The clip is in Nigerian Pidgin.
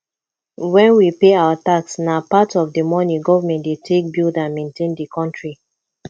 when we pay our tax na part of di money government dey take build and maintain di country